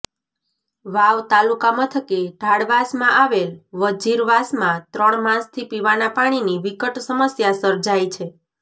વાવ તાલુકા મથકે ઢાળવાસમાં આવેલ વજીરવાસમાં ત્રણ માસથી પીવાનાં પાણીની વિકટ સમસ્યા સર્જાઈ છે